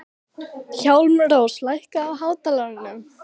Hjálmrós, lækkaðu í hátalaranum.